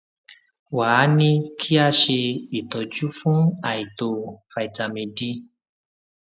wá a ní kí a ṣe ìtọjú fún àìtó vitamin d